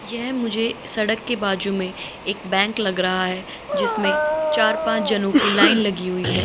यह मुझे सड़क के बाजू में एक बैंक लग रहा है जिसमे चार पांच जनों की लाइन लगी हुई है।